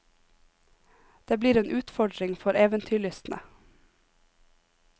Det blir en utfordring for eventyrlystne.